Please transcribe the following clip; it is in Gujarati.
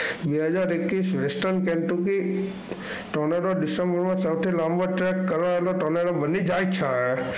બે હજાર એકવીસ tornado december માં સૌથી લાંબો track કરવા વાળો tornado બની જાય છે